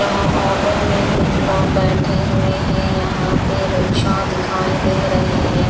यहाँ ऑटो में कुछ लोग बैठे हुए हैं यहाँ पे रिक्शा दिखाई दे रहे हैं।